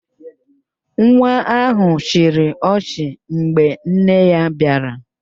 Nwa ahụ chịrị ọchị mgbe nne ya bịara